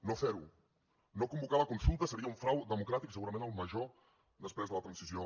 no fer ho no convocar la consulta seria un frau democràtic i segurament el major després de la transició